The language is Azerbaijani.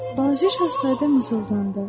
Balaca Şahzadə mızıldandı.